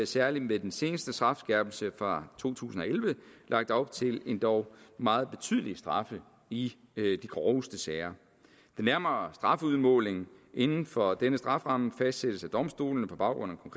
særlig ved den seneste strafskærpelse fra to tusind og elleve lagt op til endog meget betydelige straffe i de groveste sager den nærmere strafudmåling inden for denne strafferamme fastsættes af domstolene på baggrund af